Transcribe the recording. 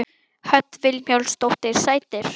Hödd Vilhjálmsdóttir: Sætir?